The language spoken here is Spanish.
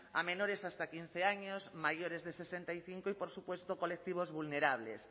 a menores hasta quince años mayores de sesenta y cinco y por supuesto colectivos vulnerables